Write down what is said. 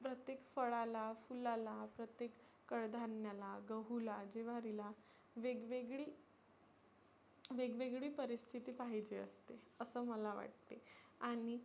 प्रत्येक फळाला, फुलाला प्रत्येक कडधान्याला, गहुला, ज्वारीला वेग वेगळी वेग वेगळी परिस्थिती पाहीजे असते असं मला वाटते आणि